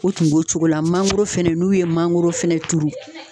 U tun b'o cogo la, mangoro fɛnɛ, n'u ye mangoro fɛnɛ turu